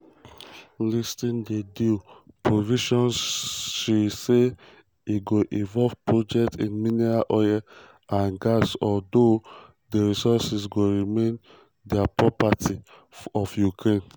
listing di deal um provisions she say e go involve projects in minerals oil and gas although di resources go remain di property of ukraine.